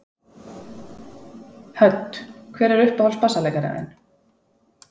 Hödd: Hver er uppáhalds bassaleikarinn þinn?